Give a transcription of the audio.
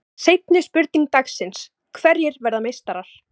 Seinni spurning dagsins: Hverjir verða meistarar?